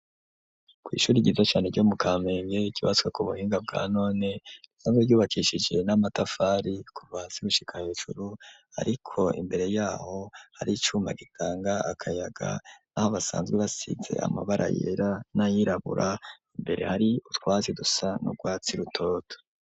kw'ishuri ryiza cane ryo mu Kamenge ryutse ku buhinga bwa none risanzwe ryubakishije n'amatafari kuva hasi gushika hejuru ariko imbere yaho hari icuma gitanga akayaga naho basanzwe basize amabara yera nayirabura mbere hari utwatsi dusa nu rwatsi rutoto.